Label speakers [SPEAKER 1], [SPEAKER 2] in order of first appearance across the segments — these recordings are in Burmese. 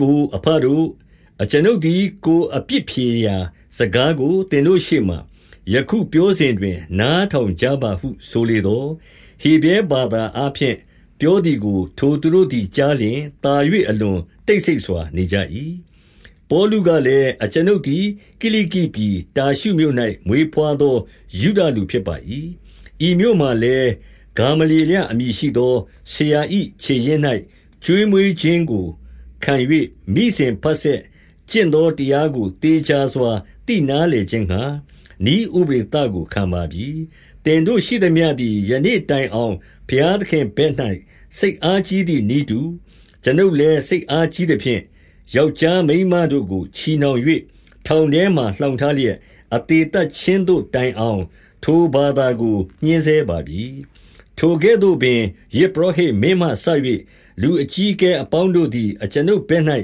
[SPEAKER 1] ကို၊ အဘတို့၊ အကျွန်ုပ်သည် ကိုယ်အပြစ်ဖြေရာ စကားကို သင်တို့ရှေ့မှာ ယခုပြောစဉ်တွင် နားထောင်ကြပါဟု ဆိုလေသော်၊ 2 ဟေဗြဲဘာသာအားဖြင့် ပြောသည်ကို ထိုသူတို့သည် ကြားလျှင် သာ၍အလွန်တိတ်ဆိတ်စွာနေကြ၏။ 3 ပေါလုကလည်း၊ အကျွန်ုပ်သည် ကိလိကိပြည် တာရှုမြို့၌ မွေးဘွားသော ယုဒလူဖြစ်ပါ၏။ ဤမြို့မှာ လည်း၊ ဂေါမလျေလအမည် ရှိသော ဆရာ၏ ခြေရင်း၌ ကျွေးမွေးခြင်းကိုခံ၍ မိစဉ်တဆက်ကျင့်သော တရားကို သေချာစွာသိနားလည်ခြင်းငှါ နည်းဥပဒေသကိုခံပါပြီ။ သင်တို့ ရှိသမျှသည်ယနေ့တိုင်အောင် ဘုရားသခင်ဘက် ၌ စိတ်အားကြီးသည် နည်းတူ၊ အကျွန်ုပ်လည်း စိတ်အားကြီးသဖြင့်၊ 4 ယောက်ျားမိန်းမတို့ကို ချည်နှောင်၍ ထောင်ထဲမှာ လှောင်ထားလျက် အသေသတ်ခြင်းသို့ တိုင်အောင်၊ ထိုဘာသာကိုညှဉ်းဆဲပါပြီ။ 5 ထိုကဲ့သို့ပင်ယဇ်ပုရောဟိတ်မင်းမှစ၍ လူအကြီးအကဲအပေါင်းတို့သည်လည်း အကျွန်ုပ်သည် ညီ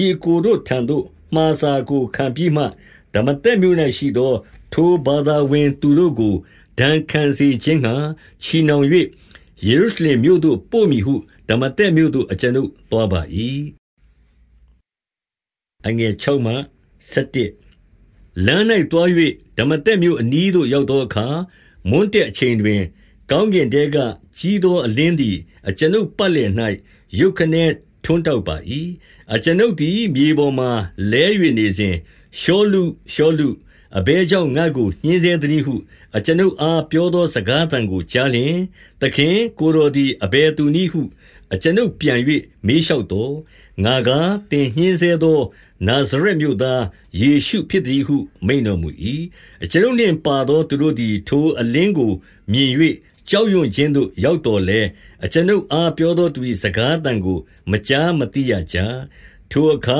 [SPEAKER 1] အစ်ကိုတို့ထံသိမှာစာကို ခံပြီးမှ၊ ဒမာသက်မြို့၌ရှိသော ထိုဘာသာဝင်သူတို့ကို ဒဏ်ခံစေခြင်းငှါ ချည်နှောင်၍ ယေရုရှလင် မြို့သို့ပို့မည်ဟု ဒမာသက်မြို့သို့အကျွန်ုပ်သွားပါ၏။ 6 လမ်း၌သွား၍ ဒမာသက်မြို့အနီးသို့ ရောက်သောအခါ၊ မွန်းတည့်အချိန်တွင် ကောင်းကင်ထဲက ကြီးသောအလင်းသည် အကျွန်ုပ် ပတ်လည်၌ ရုတ်ခနဲ ထွန်းတောက်ပါ၏။ 7 အကျွန်ုပ်သည် မြေပေါ်မှလဲ၍ နေစဉ်၊ ရှောလု၊ ရှောလု၊ အဘယ်ကြောင့်ငါ့ကို ညှဉ်းဆဲသနည်းဟု အကျွန်ုပ်အား ပြောသောစကားသံကိုကြားလျှင်၊ 8 သခင်၊ ကိုယ်တော်သည်အဘယ်သူနည်းဟု အကျွန်ုပ်ပြန်၍ မေးလျှောက်သော်၊ ငါကား၊ သင်ညှင်းဆဲ သော နာဇရက်မြို့သားယေရှုဖြစ် သတည်းဟု မိန့်တော်မူ၏။ 9 အကျွန်ုပ်နှင့်ပါသောသူတို့သည် ထိုအလင်းကို မြင်၍ကြောက်ရွံ့ခြင်းသို့ရောက်သော်လည်း၊ အကျွန်ုပ် အားပြောသောသူ၏ စကားသံကို မကြားမသိရကြ။ 10 ထိုအခါ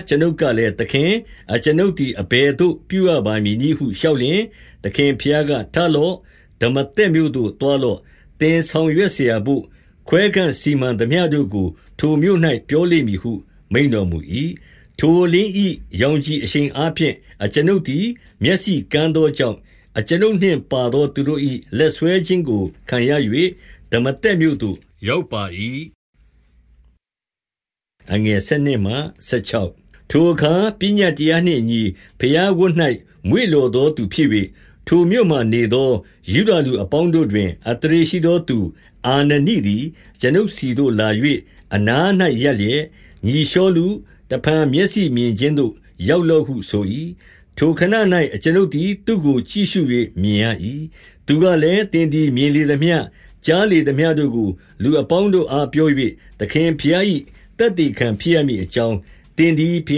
[SPEAKER 1] အကျွန်ုပ်ကလည်း၊ သခင်၊ အကျွန်ုပ်သည် အဘယ်သို့ ပြုရပါမည်နည်းဟု လျှောက် လျှင်၊ သခင်ဘုရားက၊ ထလော့။ ဒမာသက်မြို့ သို့သွား လော့။ သင်ဆောင်ရွက်စရာတို့ ခွဲခန့်စီမံသမျှတို့ကို ထိုမြို့၌ ပြောလိမ့်မည်ဟုမိန့်တော်မူ၏။ 11 ထိုအလင်း၏ရောင်ခြည်အရှိန်အားဖြင့် အကျွန်ုပ်သည် မျက်စိကန်းသောကြောင့်၊ အကျွန်ုပ်နှင့် ပါ သော သူတို့၏ လက်ဆွဲခြင်းခံရ၍ ဒမာသက်မြို့သို့ ရောက်ပါ၏။ 12 ထိုအခါ ပညတ်တရားနှင့်အညီ ဘုရားဝတ်၌မွေ့လျော်သောသူဖြစ်၍၊ ထိုမြို့မှ နေသောယုဒလူ အပေါင်းတို့တွင် အသရေရှိသောသူ အာနနိသည်၊ 13 အကျွန်ုပ်ဆီသို့လာ၍ အနား၌ရပ်လျက်၊ ညီရှောလု၊ တဖန်မျက်စိမြင်ခြင်းသို့ ရောက်လော့ဟုဆို၏။ ထိုခဏ၌အကျွန်ုပ်သည် သူ့ကိုကြည့်ရှု၍မြင်ရ၏။ 14 သူကလည်း၊ သင်သည်မြင်လေသမျှ၊ ကြားလေသမျှ တို့ကို လူအပေါင်းတို့အားပြော၍ သခင်ဘုရား၏ သက်သေခံဖြစ်ရမည် အကြောင်း၊ 15 သင်သည်ဘု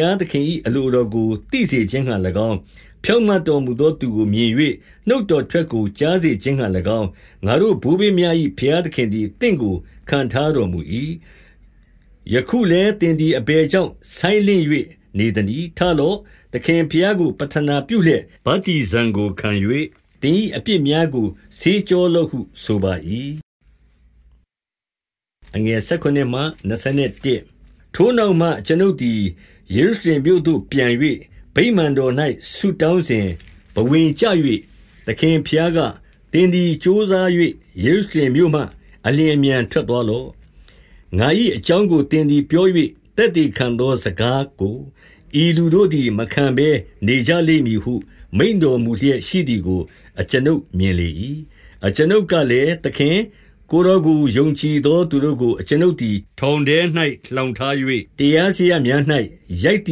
[SPEAKER 1] ရားသခင်၏ အလိုတော်ကို သိစေခြင်းငှါ၎င်း၊ ဖြောင့်မတ်တော်မူသောသူကိုမြင်၍ နှုတ်တော်ထွက်ကို ကြားစေခြင်းငှါ၎င်း၊ ငါတို့ဘိုးဘေးများ၏ ဘုရားသခင်သည် သင့်ကို ခန့်ထားတော်မူ၏။ 16 ယခုလည်းသင်သည်အဘယ်ကြောင့် ဆိုင်းလင့်၍ နေသနည်း။ ထလော့။ သခင်ဘုရားကို ပဌနာပြုလျက် ဗတ္တိဇံကိုခံ၍၊ သင်၏အပြစ်များကို ဆေးကြောလော့ဟု ဆိုပါ၏။ 17 ထိုနောက်မှ အကျွန်ုပ်သည် ယေရုရှလင်မြို့သို့ ပြန်၍၊ ဗိမာန်တော်၌ ဆုတောင်းစဉ်ဘဝင်ကျ၍၊ 18 သခင်ဘုရားက၊ သင်သည်ကြိုးစား၍ ယေရုရှလင်မြို့မှ အလျင်အမြန်ထွက်သွားလော့။ ငါ၏ အကြောင်းကို သင်သည်ပြော၍ သက်သေခံသော စကား ကို ဤလူတို့သည် မခံဘဲနေကြလိမ့်မည်ဟု မိန့်တော် မူလျက်ရှိသည်ကို အကျွန်ုပ်မြင်လေ၏။ 19 အကျွန်ုပ်ကလည်း၊ သခင်၊ ကိုယ်တော်ကို ယုံကြည်သော သူတို့ကို အကျွန်ုပ်ထောင်ထဲ၌ လှောင် ထား၍၊ တရားစရပ်များ၌ ရိုက်သ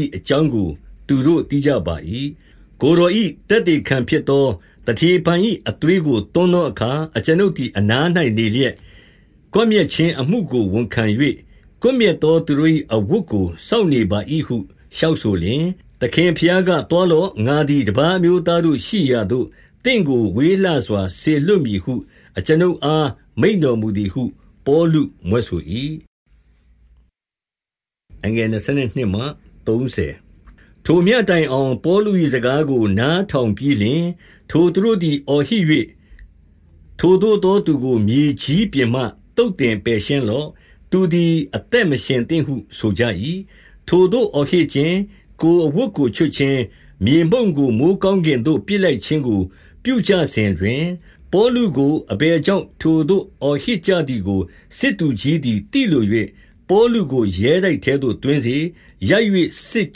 [SPEAKER 1] ည်အကြောင်းကို သူတို့သိကြပါ၏။ 20 ကိုယ်တော်၏ သက်သေခံဖြစ်သော သတေဖန်၏ အသွေးကို သွန်းသောအခါ အကျွန်ုပ်သည် အနား၌ နေလျက်၊ ကွပ်မျက်ခြင်း အမှုကို ဝန်ခံ၍၊ ကွပ်မျက်သော သူတို့၏ အဝတ်ကိုစောင့်နေပါ၏ဟု၊ 21 လျှောက်ဆိုလျှင်၊ သခင်ဘုရားက၊ သွားလော့။ ငါသည်တပါး အမျိုးသားတို့ရှိရာသို့ သင့်ကိုဝေးလှစွာ လွှတ်မည်ဟုအကျွန်ုပ်အား မိန့်တော်မူသည်ဟု ပေါလု မြွက်ဆို၏။ 22 ထိုမျှတိုင်အောင် ပေါလု၏ စကားကို နားထောင်ပြီးလျှင်၊ ထိုသူတို့သည်အော်ဟစ်၍၊ ထိုသို့သောသူကို မြေကြီးပြင်မှ သုတ်သင်ပယ်ရှင်းလော့။ သူသည် အသက် မရှင်သင့်ဟု ဆိုကြ၏။ 23 ထိုသို့အော်ဟစ်ခြင်း၊ ကိုယ်အဝတ်ကိုချွတ်ခြင်း၊ မြေမှုန့်ကို မိုဃ်းကောင်းကင်သို့ ပစ်လိုက်ခြင်းကို ပြုကြ စဉ်တွင်၊ 24 ပေါလုကိုအဘယ်ကြောင့် ထိုသို့အော်ဟစ်ကြ သည်ကိုစစ်သူကြီးသည် သိလို၍၊ ပေါလုကို ရဲတိုက်ထဲသို့ သွင်းစေ။ ရိုက်၍ စစ်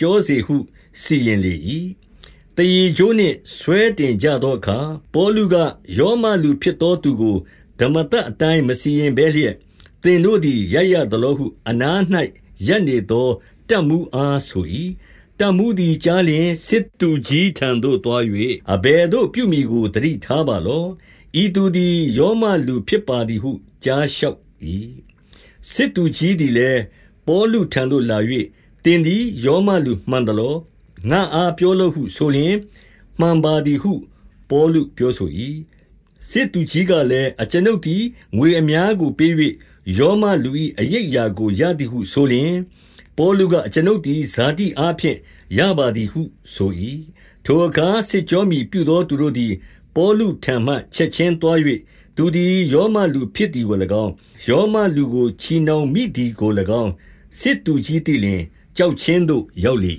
[SPEAKER 1] ကြောစေဟုစီရင်လေ၏။ 25 သားရေကြိုးနှင့်ဆွဲတင်ကြသောအခါ၊ ပေါလုက၊ ရောမလူဖြစ်သောသူကို ဓမ္မသတ်အတိုင်း မစီရင်ဘဲလျက်၊ သင်တို့သည် ရိုက်ရသလောဟု နား၌ရပ်နေသော တပ်မှူး အားဆို၏။ 26 တပ်မှူးသည်ကြားလျှင် စစ်သူကြီးထံသို့သွား၍၊ အဘယ်သို့ပြုမည်ကို သတိထားပါလော့။ ဤသူသည် ရောမလူဖြစ်ပါသည်ဟု ကြားလျှောက်၏။ 27 စစ်သူကြီးသည်လည်း၊ ပေါလုထံသို့လာ၍၊ သင်သည်ရောမလူမှန်သလော၊ ငါ့အား ပြောလော့ဟုဆိုလျှင် မှန်ပါသည်ဟု ပေါလုဆို၏။ 28 စစ်သူကြီးကလည်း၊ အကျွန်ုပ်သည်ငွေအများကို ပေး၍ ရောမလူ၏ အရိပ်အရာကိုရသည်ဟုဆိုလျှင်၊ ပေါလုက၊ အကျွန်ုပ်သည် ဇာတိအားဖြင့် ရပါသည်ဟု ဆို၏။ 29 ထိုအခါစစ်ကြောမည်ပြုသောသူတို့သည် ပေါလုထံမှချက်ခြင်း သွား၍၊ သူသည်ရောမလူ ဖြစ်သည်ကို၎င်း၊ ရောမလူကိုချည်နှောင်မိသည်ကို၎င်း၊ စစ်သူကြီးသိလျှင် ကြောက်ခြင်းသို့ရောက်လေ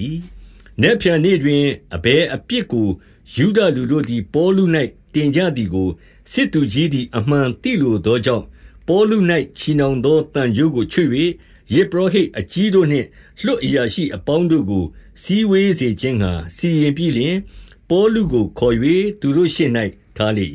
[SPEAKER 1] ၏။ 30 နက်ဖြန်နေ့တွင်အဘယ်အပြစ်ကို ယုဒလူတို့သည် ပေါလု၌ တင်ကြသည်ကို စစ်သူကြီးသည် အမှန် သိလိုသောကြောင့်၊ ပေါလု၌ ချည်နှောင်သောသံကြိုးကို ချွတ်၍၊ ယဇ်ပုရောဟိတ်အကြီးတို့နှင့် လွှတ်အရာရှိ အပေါင်းတို့ကို စည်းဝေးစေခြင်းငှါစီရင်ပြီးလျှင်၊ ပေါလု ကိုခေါ်၍ သူတို့ရှေ့၌ထားလေ